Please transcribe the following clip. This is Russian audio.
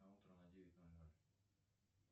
на утро на девять ноль ноль